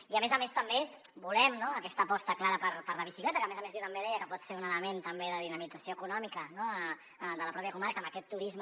i a més a més també volem aquesta aposta clara per la bicicleta que a més a més jo deia que pot ser un element també de dinamització econòmica de la pròpia comarca amb aquest turisme